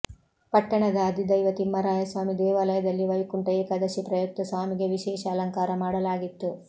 ಪಟ್ಟಣದ ಅಧಿದೈವ ತಿಮ್ಮರಾಯಸ್ವಾಮಿ ದೇವಾಲಯದಲ್ಲಿ ವೈಕುಂಠ ಏಕಾದಶಿ ಪ್ರಯುಕ್ತ ಸ್ವಾಮಿಗೆ ವಿಶೇಷ ಅಲಂಕಾರ ಮಾಡಲಾಗಿತ್ತು